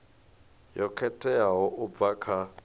yo khetheaho u bva kha